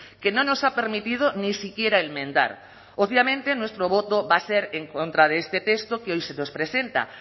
que no nos ha permitido ni siquiera enmendar obviamente nuestro voto va a ser en contra de este texto que hoy se nos presenta